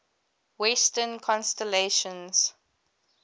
western constellations